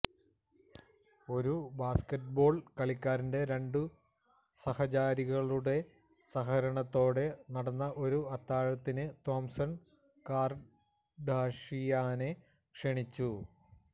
ഒരു ബാസ്ക്കറ്റ്ബോൾ കളിക്കാരന്റെ രണ്ടു സഹചാരികളുടെ സഹകരണത്തോടെ നടന്ന ഒരു അത്താഴത്തിന് തോംസൺ കാർഡാഷിയനെ ക്ഷണിച്ചു